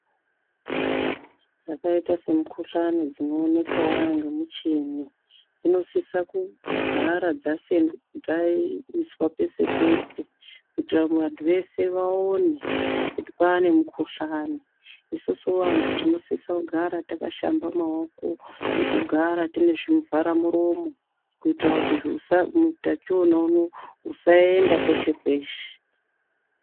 Dzakaita semukuhlani dzinoonekwa nemuchini dzinosisa kugara dzaiswa pese pese kuitira vantu vese vaone kuti kwava nemukuhlani, isusu vantu tinosise kugara takashamba maoko nekugara tine zvivharamuromo kuitira kuti utachiona husaende kweshe kweshe.